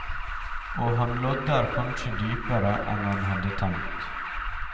Og han lodder kanskje dypere enn han hadde tenkt.